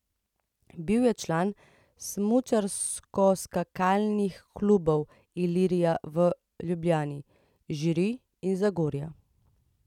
Bil je član smučarskoskakalnih klubov Ilirija v Ljubljani, Žiri in Zagorja.